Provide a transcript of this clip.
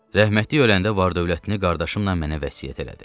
Rəhmətlik öləndə var-dövlətini qardaşımla mənə vəsiyyət elədi.